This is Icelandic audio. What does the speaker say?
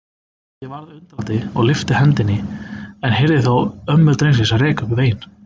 Ég varð undrandi og lyfti hendinni en heyrði þá ömmu drengsins reka upp vein.